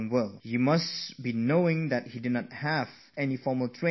Do you know that he had no formal education in Mathematics